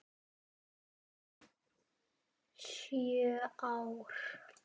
Sjö ár?